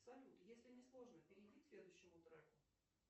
салют если не сложно перейди к следующему треку